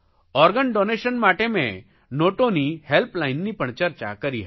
organ donation માટે મે નોટોની હેલ્પલાઇનની પણ ચર્ચા કરી હતી